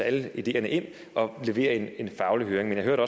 alle ideerne ind og levere en faglig høring jeg hørte